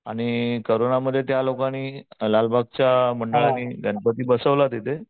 आणि कोरोनामध्ये त्या लोकांनी लालबागच्या मंडळाने गणपती बसवला तिथे